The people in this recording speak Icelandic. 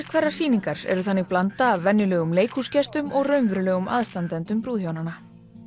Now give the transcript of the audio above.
hverrar sýningar eru þannig blanda af venjulegum leikhúsgestum og raunverulegum aðstandendum brúðhjónanna